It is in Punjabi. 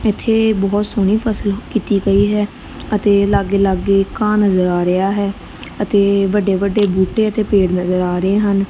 ਇਥੇ ਬਹੁਤ ਸੋਹਣੀ ਫਸਲ ਕੀਤੀ ਪਈ ਹੈ ਅਤੇ ਲਾਗੇ ਲਾਗੇ ਕਾ ਨਜ਼ਰ ਆ ਰਿਹਾ ਹੈ ਅਤੇ ਵੱਡੇ ਵੱਡੇ ਬੂਟੇ ਅਤੇ ਪੇੜ ਨਜ਼ਰ ਆ ਰਹੇ ਹਨ।